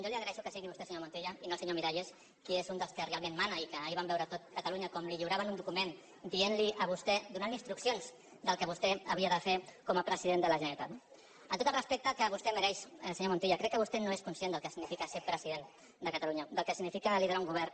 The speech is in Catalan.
jo li agraeixo que sigui vostè senyor montilla i no el senyor miralles que és un dels que realment mana i que ahir va veure tot catalunya com li lliuraven un document dient li a vostè donant li instruccions del que vostè havia de fer com a president de la generalitat no amb tot el respecte que vostè mereix senyor montilla crec que vostè no és conscient del que significa ser president de catalunya del que significa liderar un govern